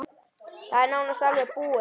Það er nánast alveg búið.